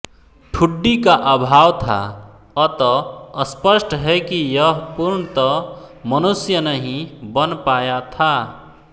ठुड्डी का अभाव था अत स्पष्ट है कि यह पूर्णत मनुष्य नहीं बन पाया था